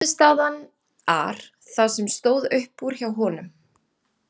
Frammistaðan ar það sem stóð upp úr hjá honum.